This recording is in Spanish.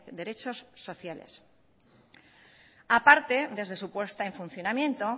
derechos sociales aparte desde su puesta en funcionamiento